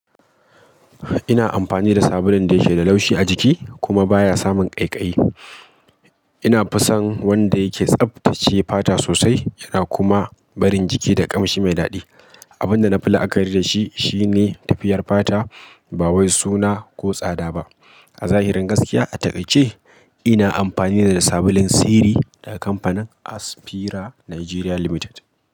Ina amfani da sabulun da yake da laushi a jiki kuma baya samun ƙaiƙayi. Ina fison wanda yake tsaftace fata sosai yana kuma barin jiki da ƙamshi mai daɗi. Abin da na fi la'akari da shi shine tafiyar fata ba wai suna ko tsada ba. A zahirin gaskiya a taƙaice ina amfani da sabulun Siri daga kamfanin Aspira Nigeria Limited.